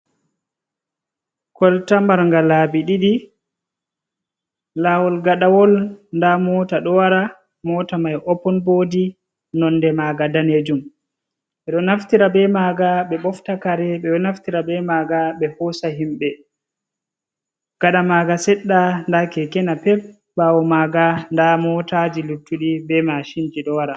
Kolta marga labi ɗiɗi, lawol gadawol da mota do wara, mota mai opin bodi nonde maga danejum, bedo naftira be maga ɓe ɓofta kare ɓedo naftira be maga ɓe hosa himbe, gada maga sedda da keke napep bawo maga da motaji luttudi be mashinji do wara.